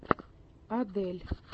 адель